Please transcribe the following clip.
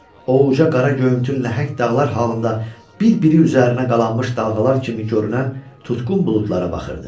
O ucqar göyümtül nəhəng dağlar halında bir-biri üzərinə qalanmış dalğalar kimi görünən tutqun buludlara baxırdı.